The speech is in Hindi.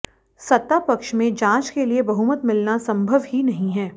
सत्ता पक्ष मंे जांच के लिए बहुमत मिलना संभव ही नहीं है